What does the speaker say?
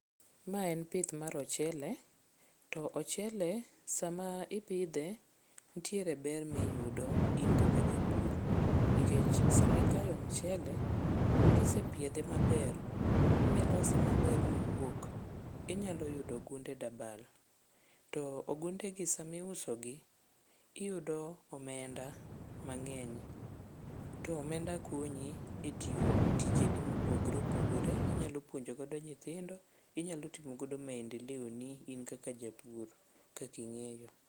Ma en pith mar ochele to ochele sama ipidhe ntiere ber miyudo in kaka japur nikech sama ikayo mchele kisepiedhe maber milose maber mowuok inyalo yudo ogunde dabal to ogundegi samiusogi iyudo omenda mang'eny to omenda konyi e tiyo tijegi mopogore opogore inyalo puonjogodo nyithindo, inyalo timogodo maendeleoni in kaka japur kaka ing'eyo.